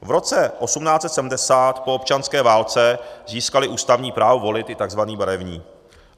V roce 1870 po občanské válce získali ústavní právo volit i tzv. barevní.